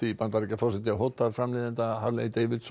Bandaríkjaforseti hótar framleiðanda